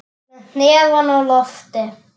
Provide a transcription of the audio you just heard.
Með hnefann á lofti.